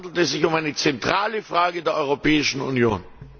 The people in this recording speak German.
Deshalb handelt es sich um eine zentrale Frage für die Europäische Union.